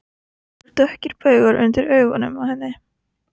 Það eru dökkir baugar undir augunum á henni.